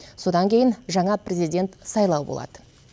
содан кейін жаңа президент сайлауы болады